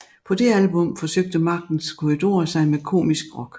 På det album forsøgte Magtens Korridorer sig med komisk rock